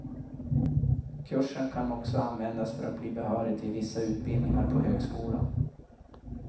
Kursen kan också användas för att bli behörig till vissa utbildningar på högskolan.